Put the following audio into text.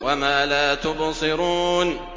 وَمَا لَا تُبْصِرُونَ